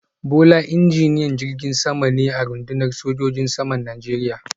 Bola injiniyan jirgin sama ne a rundunar sojojin saman Najeriya